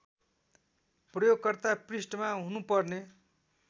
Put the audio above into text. प्रयोगकर्ता पृष्ठमा हुनुपर्ने